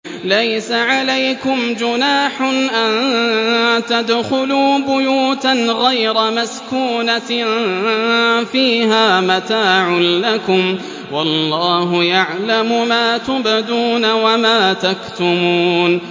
لَّيْسَ عَلَيْكُمْ جُنَاحٌ أَن تَدْخُلُوا بُيُوتًا غَيْرَ مَسْكُونَةٍ فِيهَا مَتَاعٌ لَّكُمْ ۚ وَاللَّهُ يَعْلَمُ مَا تُبْدُونَ وَمَا تَكْتُمُونَ